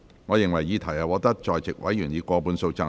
我認為議題獲得在席委員以過半數贊成。